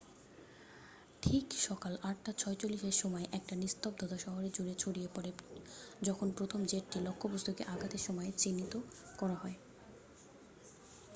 ঠিক সকাল ৮ঃ৪৬এর সময় একটা নিস্তব্ধতা শহর জুড়ে ছড়িয়ে পড়ে যখন প্রথম জেটটি লক্ষ্যবস্তুকে আঘাতের সময় চিহ্নিত করা হয়।